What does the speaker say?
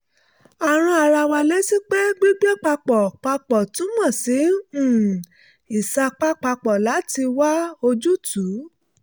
a rán ara wa létí pé gbígbé papọ̀ papọ̀ túmọ̀ sí um ìsapá papọ̀ láti wá ojútùú